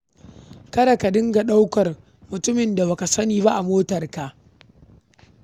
Kada ka riƙa ɗaukar mutumin da ba ka sani ba a motarka.